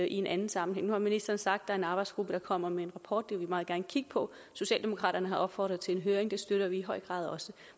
en anden sammenhæng nu har ministeren sagt er en arbejdsgruppe der kommer med en rapport vil vi meget gerne kigge på socialdemokraterne har opfordret til en høring og det støtter vi i høj grad også